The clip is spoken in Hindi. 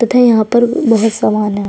तथा यहाँ पर बहुत सामान है।